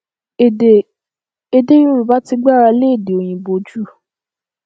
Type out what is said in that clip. èdè èdè yorùbá ti gbára lé èdè òyìnbó jù